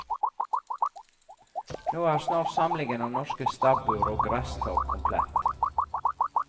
Nå er snart samlingen av norske stabbur og gresstak komplett.